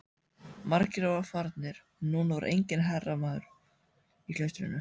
Margir voru farnir og núna var enginn hermaður í klaustrinu.